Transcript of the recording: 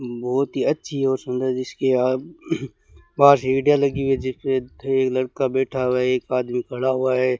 बहोत ही अच्छी और सुंदर जिसकी आप बाहर सीटें लगी हुई है जिसपे एक लड़का बैठा हुआ है एक आदमी खड़ा हुआ है।